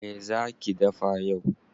Me zaa ki dafa yau?